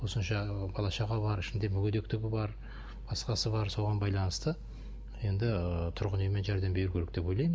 осынша бала шаға бар ішінде мүгедектігі бар басқасы бар соған байланысты енді тұрғын үймен жәрдем беру керек деп ойлаймын